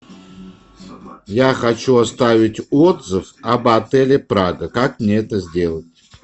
я хочу оставить отзыв об отеле прага как мне это сделать